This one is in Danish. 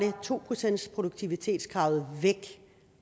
to procentsproduktivitetskravet væk